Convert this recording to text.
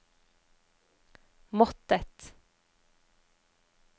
måttet